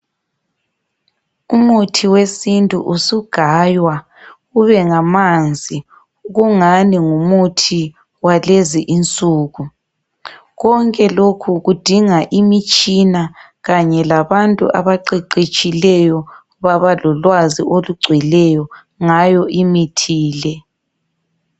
Umuthi wesintu usugaywa ubengamanzi kungani ngumuthi walezinsuku. Konke lokhu kudinga imitshina kanye labantu abaqeqetshileyo babalolwazi olugcweleyo ngayo imithi le.